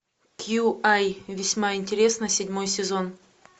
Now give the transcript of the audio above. кью ай весьма интересно седьмой сезон